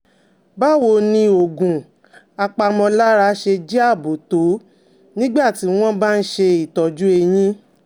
Báwo ni ni oògùn apàmọ̀lára ṣe jẹ́ ààbò tó nígbà tí wọ́n bá ń ṣe ìtọ́jú eyín?